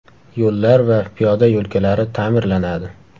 Yo‘llar va piyoda yo‘lkalari ta’mirlanadi.